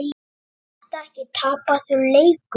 Er þetta ekki tapaður leikur?